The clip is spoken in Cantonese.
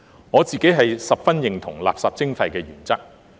我自己十分認同垃圾徵費的原則。